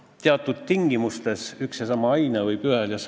Nendes debattides võidi viidata mõnele ammu seadustatud sunnirahale mingis muus valdkonnas.